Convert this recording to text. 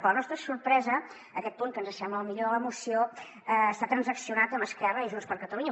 per a la nostra sorpresa aquest punt que ens sembla el millor de la moció està transaccionat amb esquerra i junts per catalunya